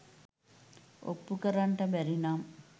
ඔප්පු කරන්නට බැරි නම්